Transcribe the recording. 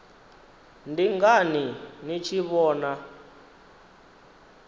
ndi ngani ni tshi vhona